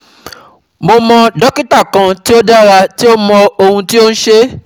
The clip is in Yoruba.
Mo mọ dokita kan ti o dara ti o mọ ohun ti o n ṣe